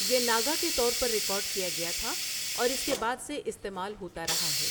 یہ 'ناگا' کے طور پر ریکارڈ کیا گیا تھا اور اس کے بعد سے استعمال ہوتا رہا ہے۔